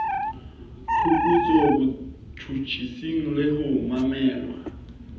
phuputsong botjhutjhising le ho mamelweng